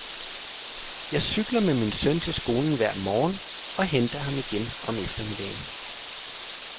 Jeg cykler med min søn til skolen hver morgen og henter ham igen om eftermiddagen.